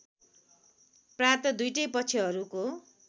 प्रात दुईटै पक्षहरूको